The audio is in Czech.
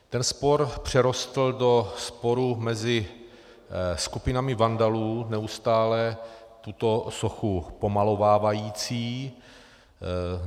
Ten spor přerostl do sporu mezi skupinami vandalů neustále tuto sochu pomalovávajících.